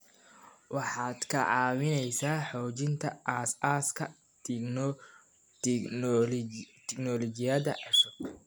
Waxaad ka caawinaysaa xoojinta aasaaska tignoolajiyada cusub.